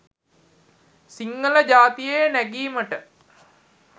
සිංහල ජාතීයේ නැගීමට